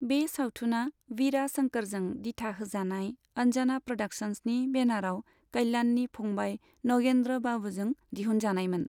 बे सावथुना वीरा शंकरजों दिथा होजानाय अंजना प्र'डाक्शन्सनि बेनाराव कल्याणनि फंबाय नगेन्द्र बाबूजों दिहुनजानायमोन।